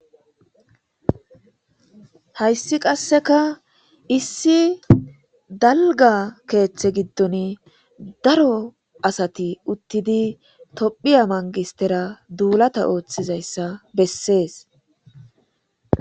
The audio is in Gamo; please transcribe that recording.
hayssi qasseka issi dalga keeththe giddon daro asati uttidi tophiya mangistera duulata ooththizayssa bessees.